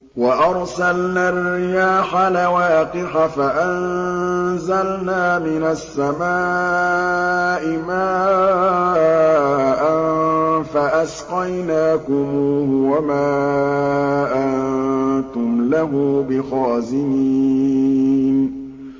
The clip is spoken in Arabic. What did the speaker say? وَأَرْسَلْنَا الرِّيَاحَ لَوَاقِحَ فَأَنزَلْنَا مِنَ السَّمَاءِ مَاءً فَأَسْقَيْنَاكُمُوهُ وَمَا أَنتُمْ لَهُ بِخَازِنِينَ